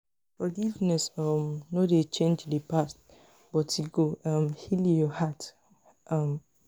forgiveness um no dey change di past but e go um heal yur heart um